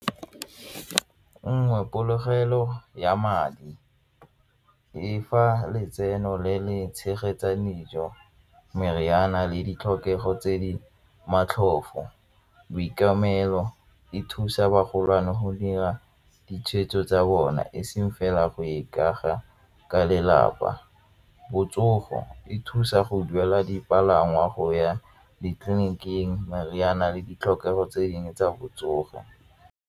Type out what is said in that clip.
Nngwe polokelo ya madi e fa letseno le le tshegetsang dijo, meriana le ditlhokego tse di matlhofo e thusa bagolo go dira ditshwetso tsa bona e seng fela go ikaga ka lelapa. Botsogo, e thusa go duela dipalangwa go ya ditleliniking meriana le ditlhokego tse dingwe tsa botsogo.